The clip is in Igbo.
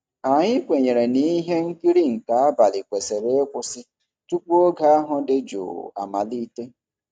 Anyị kwenyere na ihe nkiri nke abalị kwesịrị ịkwụsị tupu oge ahụ dị jụụ amalite.